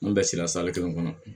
An bɛɛ sera kelen kɔnɔ